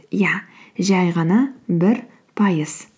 иә жай ғана бір пайыз